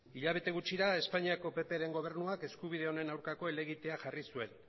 hilabete gutxira espainiako ppren gobernuak eskubide honen aurkako helegitea jarri zuen